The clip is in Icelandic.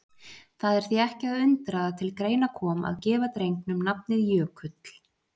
Það er því ekki að undra að til greina kom að gefa drengnum nafnið Jökull.